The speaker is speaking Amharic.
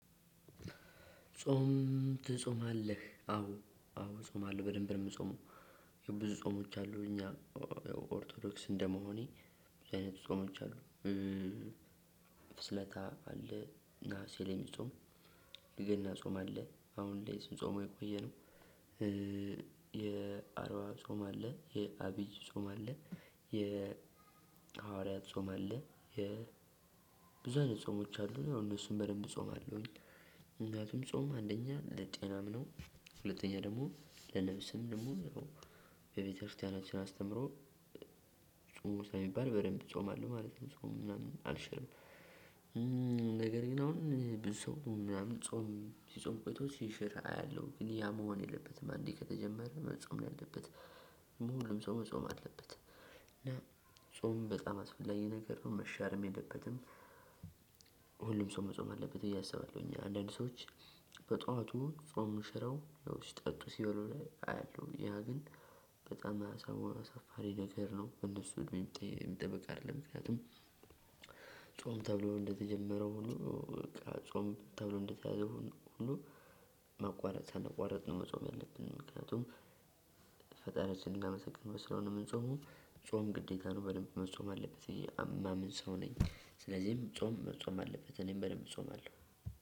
ጾም ትጾማለህ? አዎ አዎ እጾማለሁ በደንብ ነው የምጾመው ብዙ ጾሞች አሉ እኛ ኦርቶዶክስ እንደመሆኔ አይነት ጾሞች አሉ ፍስለታ አለ ነሀሴ ላይ የሚጾም፣ የገና ጾም አለ አሁን ላይ ስንጾመው የቆየነው፣ የአርባ ጾም አለ የአቢይ ጾም አለ። የሐዋርያት ጾም አለ የብዙ አይነት ጾሞች አሉ እነሱን በደንብ እጾማለውኝ። ምክንያቱም ጾም አንደኛ ለጤናም ነው። ሁለተኛ ደግሞ ለነፍስም ደግሞ በቤተክርስቲያናችን አስተምሮ ጾም ሳይባል በደንብ እጾማለሁ ማለት ነው። ጾም ምናምን አልሽርም። ነገር ግን አሁን ብዙ ሰው ምናምን ጾም ሲጾም ቆይቶ ሲሸር አያለሁ ግን ያ መሆን የለበትም አንዴ ከተጀመረ መጾም ነው ያለበት ሁሉም ሰው መጾም አለበት። ጾም በጣም አስፈላጊ ነገር ነው መሻርም የለበትም ሁሉም ሰው መጾም አለበት እያሰባሁኝ አንዳንድ ሰዎች በጧቱ ጾም ሽረው ያው ሲጠጡ ሲበሉ ላይ አያለሁ ያ ግን በጣም አሳፋሪ ነገር ነው ከእነሱ ሚጠብቅ አይደለም ምክንያቱም ጾም ተብሎ እንደተጀመረው ሁሉ በቃ ጾም ተብሎ እንደተያዘው ሁሉ መቋረጥ ሳንቋረጥ ነው መጾም ያለብን ምክንያቱም ፈጣሪያችንን ማመሰግን በስራው ነው የምንጾመው ጾም ግዴታ ነው በደንብ መጾም አለብኝ እኔ እማምን ሰው ነኝ ስለዚህም ጾም መጾም አለበት እኔም በደንብ እጾምአለው